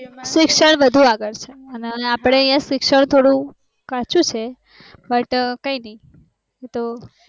શિક્ષણ વધુ આગળ છે અને અપડે યા થોડું કાચું છે but કઈ નઈ